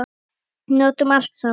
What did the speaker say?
Notaðu allt saman.